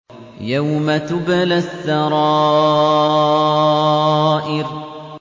يَوْمَ تُبْلَى السَّرَائِرُ